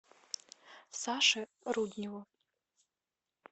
саше рудневу